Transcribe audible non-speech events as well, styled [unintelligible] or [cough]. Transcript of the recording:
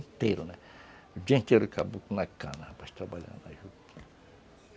O dia inteiro [unintelligible]